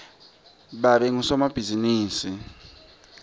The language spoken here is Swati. babe ngusomabhizimisi